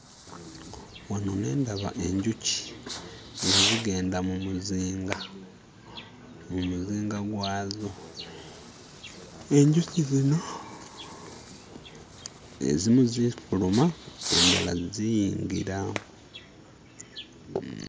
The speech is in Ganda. Wano ne ndaba enjuki nga zigenda mu muzinga, mu muzinga gwazo. Enjuki zino ezimu zifuluma endala ziyingira